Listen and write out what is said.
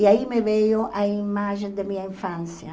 E aí me veio a imagem da minha infância.